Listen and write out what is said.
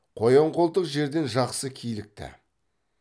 қоян қолтық жерден жақсы килікті